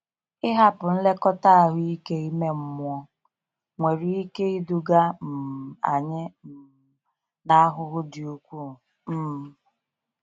Ịhapụ nlekọta ahụike ime mmụọ nwere ike iduga um anyị um n'ahụhụ dị ukwuu. um